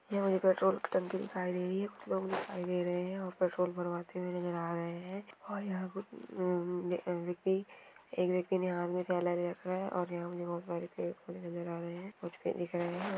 यहाँ मुझे पेट्रोल की टंकी दिखाई दे रही है कुछ लोग दिखाई दे रहे है और पेट्रोल भरवाते हुए नजर आ रहे है और यहाँ पे एक व्यक्ति ने हाँथ मे थैला ले रखा है और यहाँ मुझे नज़र आ रहे हैं